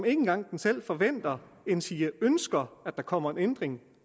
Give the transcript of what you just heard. ikke engang selv forventer endsige ønsker at der kommer en ændring